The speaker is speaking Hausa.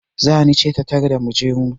Zani ce ta tarda mu je mu